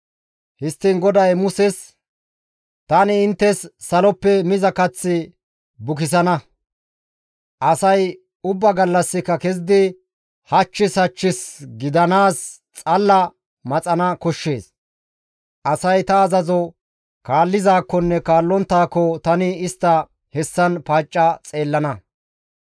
Histtiin GODAY Muses, «Tani inttes saloppe miza kath bukisana; asay ubba gallassika kezidi hachchis hachchis gidanaaz xalala maxana koshshees. Asay ta azazo kaallizaakkonne kaallonttaako tani istta hessan paacca xeellana.